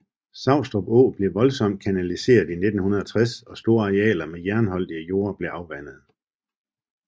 Savstrup Å blev voldsomt kanaliseret i 1960 og store arealer med jernholdige jorder blev afvandet